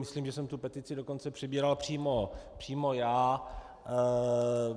Myslím, že jsem tu petici dokonce přebíral přímo já.